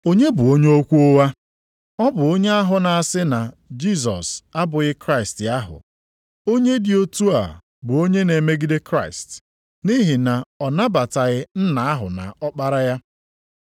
Onye bụ onye okwu ụgha? Ọ bụ onye ahụ na-asị na Jisọs abụghị Kraịst ahụ. Onye dị otu a bụ onye na-emegide Kraịst, nʼihi na ọ nabataghị Nna ahụ na Ọkpara ya.